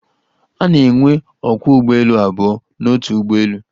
A na-enwe ókwá ụgbọelu abụọ n'otu ụgbọelu.